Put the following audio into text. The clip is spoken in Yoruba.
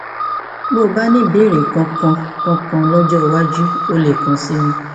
bí o bá ní ìbéèrè kankan kankan lọjọ iwájú o lè kàn sí mi